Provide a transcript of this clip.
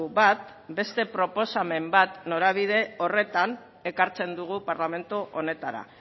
bat beste proposamen bat norabide horretan ekartzen dugu parlamentu honetara